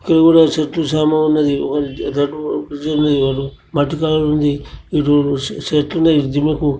ఇక్కడ కూడా చెట్టు చేమ ఉన్నదీ ఒకటి రెడ్ కలర్ ఉన్నదీ ఒకటి మట్టి కలర్ ఉన్నదీ ఇదా చెట్లున్నాయి జిఎం--